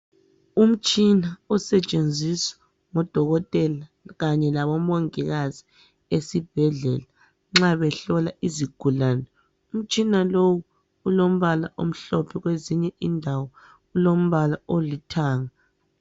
Umtshina osetshenziswa ngodokotela kanye labomongikazi esibhendlela nxa behlola izigulane umtshina lowu ulombala omhlophe kwezinye indawo ulombala olithanga.